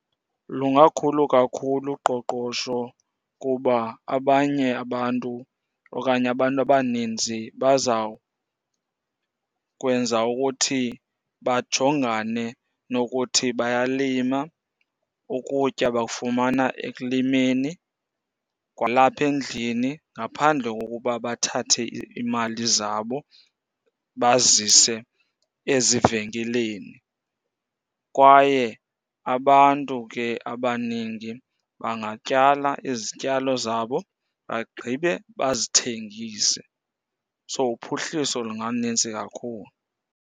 Lungakhulu kakhulu uqoqosho. Kuba abanye abantu okanye abantu abaninzi bazawukwenza ukuthi bajongane nokuthi bayalima, ukutya bakufumana ekulimeni. Kwalapha endlini ngaphandle kokuba bathathe iimali zabo bazise ezivenkileni. Kwaye abantu ke abaningi bangatyala izityalo zabo bagqibe bazithengise. So uphuhliso lungalunintsi kakhulu.